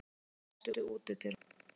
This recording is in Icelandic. Róberta, læstu útidyrunum.